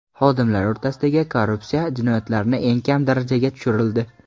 Xodimlar o‘rtasidagi korrupsiya jinoyatlarni eng kam darajaga tushirildi.